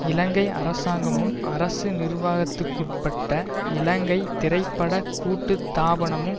இலங்கை அரசாங்கமும் அரசு நிர்வாகத்துக்குட்பட்ட இலங்கை திரை பட கூட்டுத்தாபனமும்